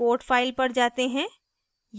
code file पर जाते हैं